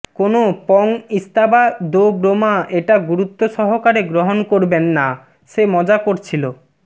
কোনও পং ইস্তাবা দো ব্রোমা এটা গুরুত্ব সহকারে গ্রহণ করবেন না সে মজা করছিলো